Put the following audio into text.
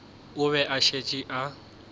o be a šetše a